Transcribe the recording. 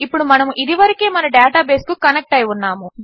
ఇప్పుడు మనము ఇదివరకే మన డేటాబేస్కు కనెక్ట్ అయి ఉన్నాము